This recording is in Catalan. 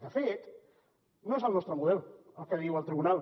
de fet no és el nostre model el que diu el tribunal